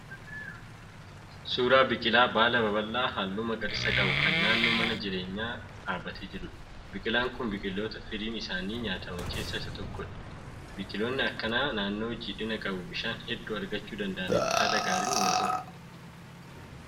Suuraa biqilaa baala babal'aa halluu magariisa qabu kan naannoo mana jireenyaa dhaabbatee jiruudha. Biqilaan kun biqiloota firiin isaanii nyaataman keessaa tokko. Biqiloonni akkanaa naannoo jiidhina qabu bishaan hedduu argachuu danda'aaniiti haala gaariin wal horu.